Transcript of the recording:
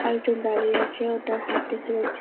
আর একজন দাঁড়িয়ে আছে ও তার হাত দেখা যাচ্ছে।